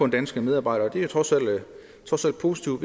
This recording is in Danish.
danske medarbejdere og det er trods alt positivt